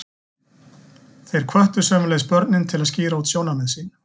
Þeir hvöttu sömuleiðis börnin til að skýra út sjónarmið sín.